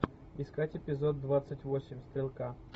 искать эпизод двадцать восемь стрелка